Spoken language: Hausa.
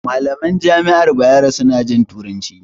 Malaman jami'ar Bayero su na jin turanci